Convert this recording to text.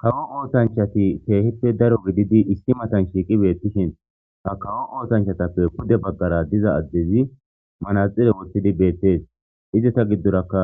kawo ootanchati teehippe daro wididi issi matan shiiqi beettishin ha kawo ootanchatappe pude baggara diza addezi manaxire wothidi beettees izata giddorakka